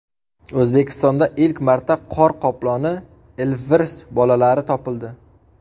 O‘zbekistonda ilk marta qor qoploni ilvirs bolalari topildi .